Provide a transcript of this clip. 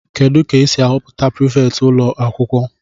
Kedu ka esi ahọpụta prifétị ụlọ akwụkwọ